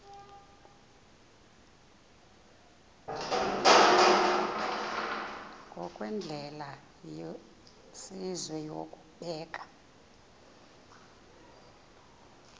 ngokwendlela yesizwe yokubeka